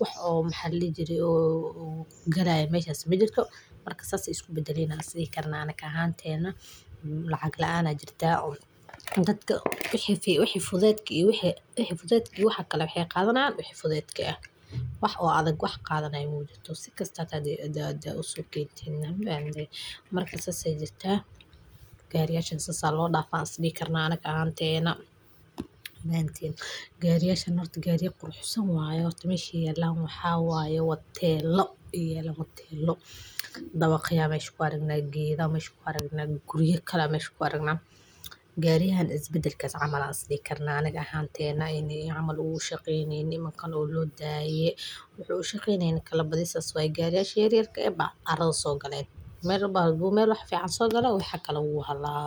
wax oo maxalligii jiray uu garay may hasti mid jirto marka sastay isku beddelina sidii karnaan ahaanteena lacag la'aana jirta. Gadka wixii fi wixii fudeydkiisa wixii wixii fudeydkiisa waxaa kale wixii qaadanaan wixii fudeydke ah. Wax oo adag wax qaadanay muujinato si kasta hadaada usoolkiintiina maamul. Marka saas saydii jirta gariyeeshana salaadhafaa sidii karnaa anaga hanteena baan tiin. Gariyeeshan ortagi gaari quruxsan waaye oo ortiga meeshi yeelan maxaa waayo wad teelo iyo wad teelo. Dawo khiyaame shiqu yaragna giida meeshku yaragna gurye kale meeshku yaragna. Gaariyaan isbedelka camala sidi karnaa naga hanteena inay aman ugu shaqayni inay makhan u loo daayee wuxuu shiqaynaa in kala badalaysa way gariyeeshay. Yaryarka ah arrin soo galay meel badbu meel waxefic aan soo galaw waxaa kale uu hadlaa.